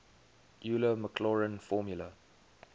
euler maclaurin formula